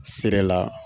Sira la